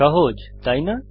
সহজ তাই না